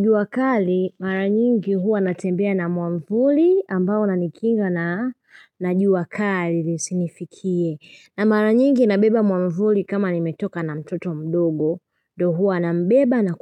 Jua kali mara nyingi huwa natembea na mwavuli ambao unanikinga na jua kali isinifikie. Na mara nyingi nabeba mwavuli kama nimetoka na mtoto mdogo ndio huwa nambeba na